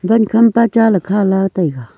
van kham pa cha le khala taiga.